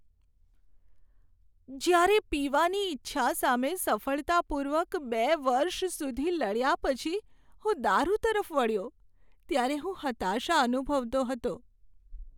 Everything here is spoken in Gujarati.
જ્યારે પીવાની ઇચ્છા સામે સફળતાપૂર્વક બે વર્ષ સુધી લડ્યા પછી હું દારૂ તરફ વળ્યો ત્યારે હું હતાશા અનુભવતો હતો.